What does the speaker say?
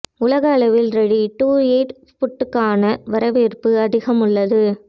உலக அளவில் ready to eat ஃபுட்டுக்கான வரவேற்பு அதிகம் உள்ளது